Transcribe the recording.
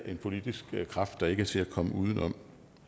en politisk kraft der ikke er til at komme udenom